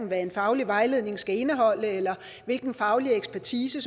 hvad en faglig vejledning skal indeholde eller hvilken faglig ekspertise